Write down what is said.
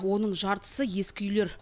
оның жартысы ескі үйлер